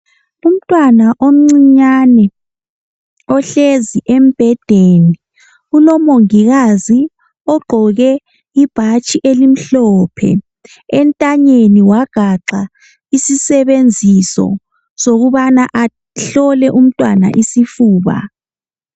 Umntwana omncinyane ohlezi embhedeni ulomongikazi ogqoke ibhatshi elimhlophe, entanyeni wagaxa isisebenziso sokubana ahlole umntwana isifuba.